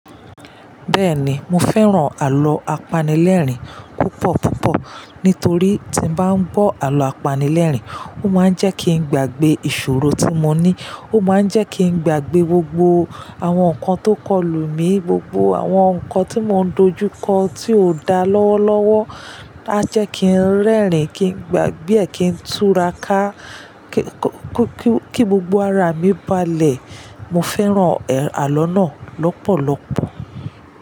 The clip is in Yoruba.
Bẹ́ẹ̀ni, mo fẹ́ràn àlọ́ apanilẹ́rìn púpọ̀ púpọ̀ nítorí tí mo bá ń gbọ́ àlọ́ apanilẹ́rìn, ó máa ń jẹ́ kí n gbàgbé ìṣòro tí mo ní, ó máa ń jẹ́ kí n gbàgbé gbogbo àwọn nǹkan tó kọ lù mí, gbogbo àwọn nǹkan tí mò ń dojú kọ tí ò da lọ́wọ́lọ́wọ́, á jẹ́ kí n rẹ́rìn-ín, kí n gbàgbé ẹ kí n túra ká kí gbogbo ara mi balẹ̀. Mo fẹ́ràn àlọ́ náà lọ́pọ̀lọpọ̀.